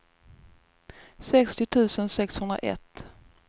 sextio tusen sexhundraett